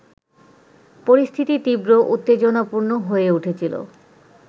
পরিস্থিতি তীব্র উত্তেজনাপূর্ণ হয়ে উঠেছিল